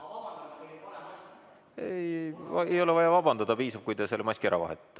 Ei ole vaja vabandada, piisab, kui te selle maski ära vahetate.